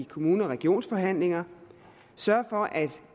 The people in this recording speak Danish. kommune og regionsforhandlinger sørge for at